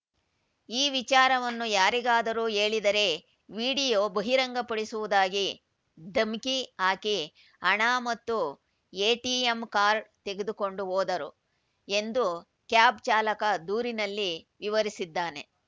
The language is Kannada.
ಈ ವಿಚಾರವನ್ನು ಯಾರಿಗಾದರೂ ಹೇಳಿದರೆ ವಿಡಿಯೋ ಬಹಿರಂಗಪಡಿಸುವುದಾಗಿ ಧಮ್ಕಿ ಹಾಕಿ ಹಣ ಮತ್ತು ಎಟಿಎಂ ಕಾರ್ಡ್‌ ತೆಗೆದುಕೊಂಡು ಹೋದರು ಎಂದು ಕ್ಯಾಬ್‌ ಚಾಲಕ ದೂರಿನಲ್ಲಿ ವಿವರಿಸಿದ್ದಾನೆ